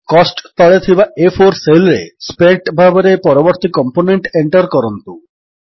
cost ତଳେ ଥିବା ଆ4 ସେଲ୍ ରେ ସ୍ପେଣ୍ଟ ଭାବରେ ପରବର୍ତ୍ତୀ କମ୍ପୋନେଣ୍ଟ ଏଣ୍ଟର୍ କରନ୍ତୁ